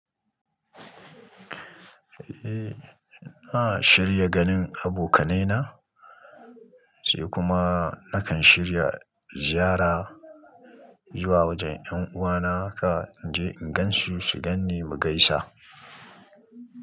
Eh, ina shirya ganin abokanai na, sai kuma nakan shirya ziyara zuwa wajen ƴan'uwana haka, in je in gansu su gan ni mu gaisa.